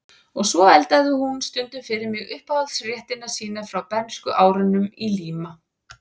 Og svo eldaði hún stundum fyrir mig uppáhaldsréttina sína frá bernskuárunum í Líma